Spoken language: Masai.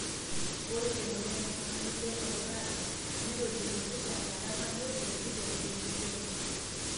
ore emoyian e Familial occurrence netolimuoki tenkata nabo, tenkitok we ntito enye.